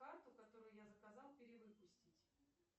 карту которую я заказал перевыпустить